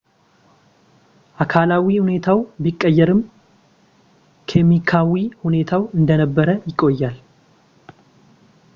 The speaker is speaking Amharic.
አካላዊ ሁኔታው ቢቀየርም ኬሚካዊ ሁኔታው እንደነበረ ይቆያል